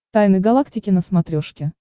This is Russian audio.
тайны галактики на смотрешке